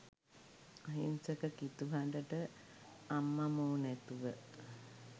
අහිංසක කිතු හඬට අම්මමෝ නැතුව